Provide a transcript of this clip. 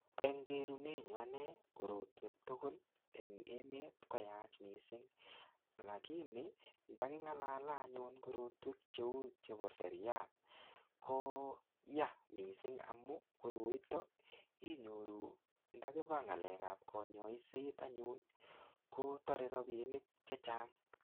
Eng kerunet nyu ane, korotwek tugul eng emet, koyach missing. Lakini, ndaking'alale anyun korotwek cheu chebo seria, koyaa missing amu, koroitok inyoru ndakiba ng'alekap kanyaiset anyun, kotare rabinik chechang.